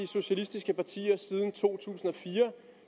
socialistiske partier siden to tusind og fire